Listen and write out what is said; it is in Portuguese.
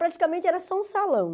Praticamente era só um salão.